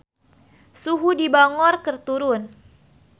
Suhu di Bangor keur turun